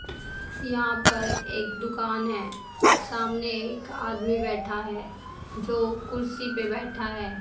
यहां पर एक दुकान है सामने एक आदमी बैठा है जो कुर्सी पे बैठा है।